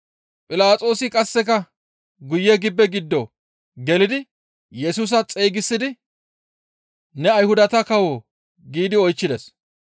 Philaxoosi qasseka guye gibbe giddo gelidi Yesusa xeygisidi, «Ne Ayhudata kawoo?» giidi oychchides.